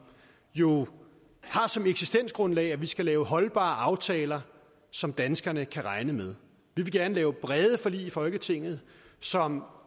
jo som eksistensgrundlag har at vi skal lave holdbare aftaler som danskerne kan regne med vi vil gerne lave brede forlig i folketinget som